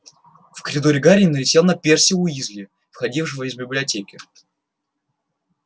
в коридоре гарри налетел на перси уизли входившего из библиотеки